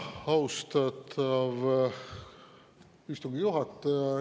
Austatav istungi juhataja!